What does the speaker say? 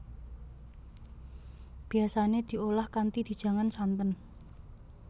Biasane diolah kanthi dijangan santen